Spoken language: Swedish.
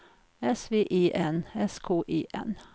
S V E N S K E N